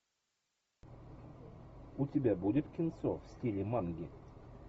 у тебя будет кинцо в стиле манги